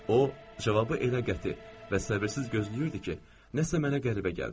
O cavabı elə qəti və səbirsiz gözləyirdi ki, nəsə mənə qəribə gəldi.